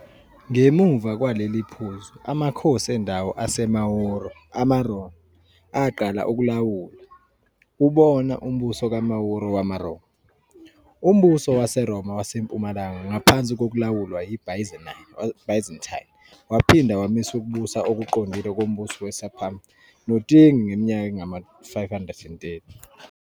Ngemuva kwaleli phuzu, amakhosi endawo aseMauro-amaRoma aqala ukulawula, bona umbuso kaMauro-wamaRoma. UMbuso WaseRoma WaseMpumalanga ngaphansi kokulawulwa yiByzantine waphinda wamisa ukubusa okuqondile kombuso kweSepum noTingi ngeminyaka engama-530.